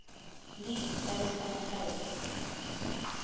league baseball players